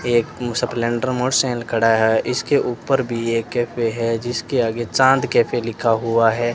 एक खड़ा है इसके ऊपर भी एक कैफ़े है जिसके आगे चांद कैफे लिखा हुआ है।